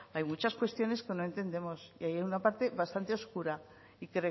hay muchas cuestiones que no entendemos y hay una parte bastante oscura y